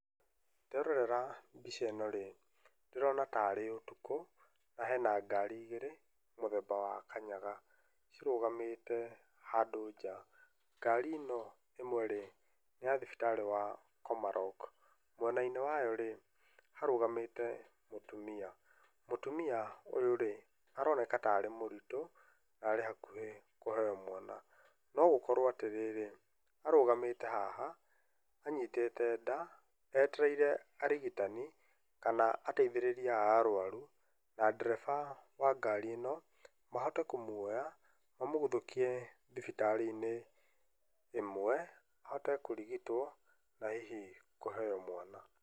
Nderorera mbica ĩno rĩ, ndĩrona tarĩ ũtukũ, na hena ngari igĩrĩ, mũthemba wa kanyaga, cirũgamĩte handũ nja. ngari ĩno ĩmwe rĩ, nĩya thibitarĩ wa Komarock. Mwena inĩ wayo rĩ, harũgamĩte mũtumia, mũtumia ũyũ rĩ, aroneka tarĩ mũritũ, narĩ hakuhĩ kũheo mwana. Nogũkorwo atĩrĩrĩ, arũgamĩte haha, anyitĩte nda, etereire arigitani, kana ateithĩrĩria a arwaru, na ndereba wa ngari ĩno, mahote kũmwoya, mamũguthũkie thibitarĩ inĩ, ĩmwe, ahote kũrigitwo, na hihi kũheo mwana.